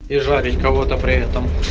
и жарить кого-то при этом